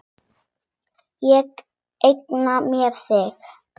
Ég eigna mér þig.